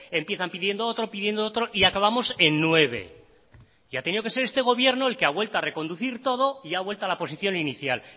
empiezan pidiendo otro pidiendo otro y acabamos en nueve y ha tenido que ser este gobierno el que ha vuelto a reconducir todo y ha vuelto a la posición inicial